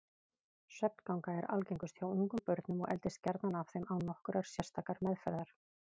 Svefnganga er algengust hjá ungum börnum og eldist gjarnan af þeim án nokkurrar sérstakrar meðferðar.